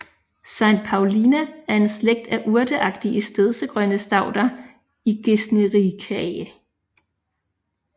Saintpaulia er en slægt af urteagtige stedsegrønne stauder i Gesneriaceae